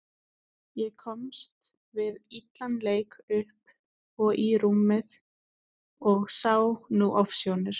Ég komst við illan leik upp og í rúmið og sá nú ofsjónir.